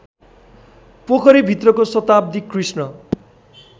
पोखरीभित्रको शताब्दी कृष्ण